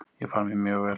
Ég fann mig mjög vel.